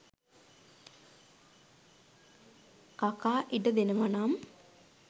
කකා ඉඩ දෙනවා නම්.